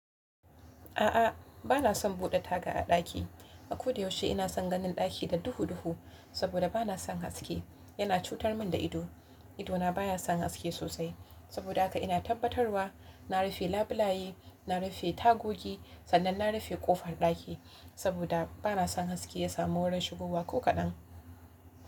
A'a, bana son buɗe taga a ɗaki. A ko da yaushe ina son ganin ɗaki da duhu-duhu saboda bana son haske. Yana cutar min da ido. Ido na baya son haske sosai. Saboda haka ina tabbatarwa na rufe labulaye, na rufe tagogi sannan na rufe ƙofar ɗaki saboda bana son haske ya samu wurin shigowa ko kaɗan.